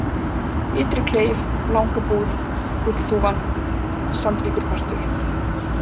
Ytri-Kleif, Langabúð, Gullþúfan, Sandvíkurpartur